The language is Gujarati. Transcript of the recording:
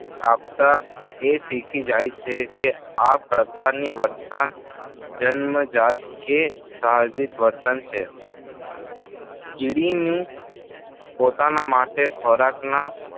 આપતાં એ શીખી જાય છે. કે આ પ્રકારનું વર્તન જન્મજાત કે સાહજિક વર્તન છે. કીડીનું પોતાના માટે ખોરાકના